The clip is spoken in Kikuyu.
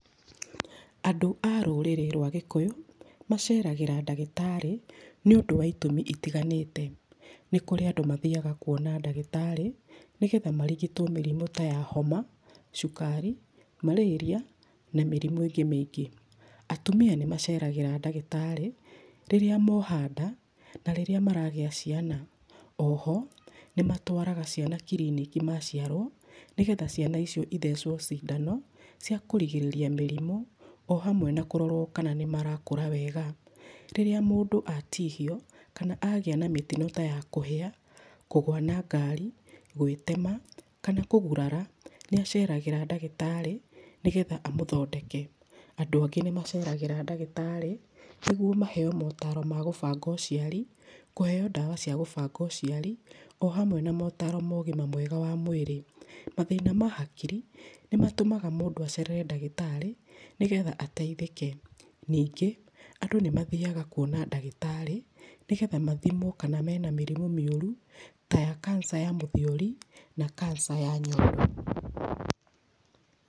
Andũ a rũrĩrĩ rwa gikũyũ, maceragĩra ndagĩtarĩ nĩ ũndũ wa itũmi itiganĩte. Nĩ kũrĩ andũ mathiaga kuona ndagĩtarĩ nĩgetha marigitwo mĩrimu ta ya homa, cukari, marĩria na mĩrimu ĩngĩ mĩingĩ. Atumia nĩ maceragĩra ndagĩtarĩ, rĩrĩa moha nda na rĩrĩa maragĩa ciana. Oho, nĩ matwaraga ciana kiriniki maciarwo, nĩ getha ciana icio ithecwo cindano cia kũrigĩrĩrĩa mĩrimu o hamwe na kũrorwo kana nĩmarakũra wega. Rĩrĩa mũndũ atihio kana agĩa na mĩtino ta ya kũhĩa, kũgwa na ngari, gwĩtema kana kũgũrara, nĩ aceragĩra ndagĩtarĩ nĩ getha amũthondeke. Andũ angĩ nĩ maceragĩra ndagĩtarĩ nĩguo maheo motaro ma gũbanga ũciari, kũheo ndawa cia gũbanga ũciari o hamwe na motaro ma ũgima mwega wa mwirĩ. Mathĩna ma hakiri, nĩ matũmaga mũndũ acerere ndagĩtarĩ nĩgetha ateithĩke. Ningĩ, andũ nĩ mathiaga kuona ndagĩtarĩ nĩ getha mathimwo kana mena mĩrimu mĩũru ta ya kanca ya mũthiori na kanca ya nyondo.